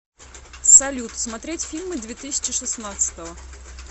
салют смотреть фильмы две тысячи шестнадцатого